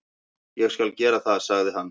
"""Ég skal gera það, sagði hann."""